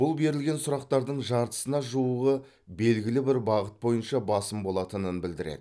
бұл берілген сұрақтардың жартысына жуығы белгілі бір бағыт бойынша басым болатынын білдіреді